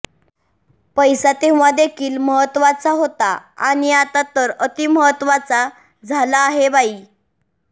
पैसा तेव्हा देखील महत्त्वाचा होता आणि आता तर अतिमहत्त्वाचा झाला आहे बाई